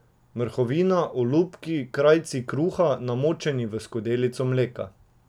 Mrhovina, olupki, krajci kruha, namočeni v skodelici mleka.